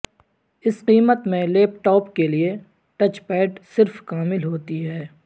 اس قیمت میں laptop کے لئے ٹچ پیڈ صرف کامل ہوتی ہے